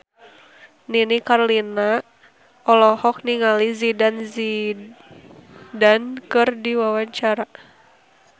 Nini Carlina olohok ningali Zidane Zidane keur diwawancara